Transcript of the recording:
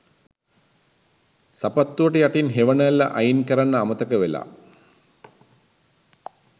සපත්තුවට යටින් හෙවනැල්ල අයින් කරන්න අමතක වෙලා.